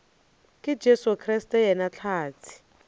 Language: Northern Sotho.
ka jesu kriste yena hlatse